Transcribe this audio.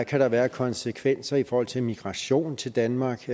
kan være af konsekvenser i forhold til immigration til danmark